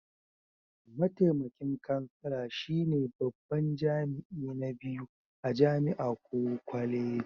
Mataimakin kansala shine babban jami'i na biyu a jami'a ko kwaleji.